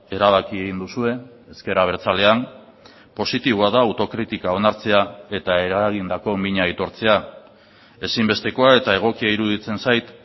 erabaki egin duzue ezker abertzalean positiboa da autokritika onartzea eta eragindako mina aitortzea ezinbestekoa eta egokia iruditzen zait